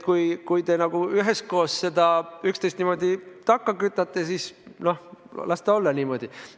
Kui te üheskoos üksteist niimoodi takka kütate, siis no las ta olla niimoodi.